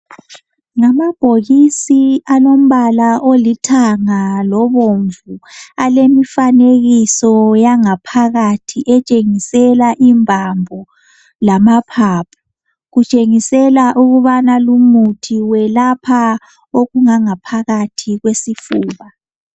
Ngamabhokisi alombala olithanga lobomvu alemifanekiso yangaphakathi etshengisela imbambo lamaphaphu. Kutshengisela ukubana lumuthi welapha okungangaphakathi kwesifuba.